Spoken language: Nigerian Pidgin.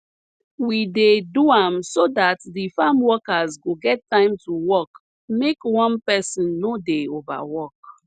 we dey do am so dat de farm workers go get time to work make one person nor dey overwork